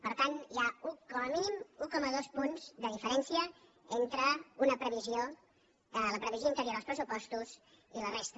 per tant hi ha com a mínim un coma dos punts de diferència entre una previsió la previsió anterior als pressupostos i la resta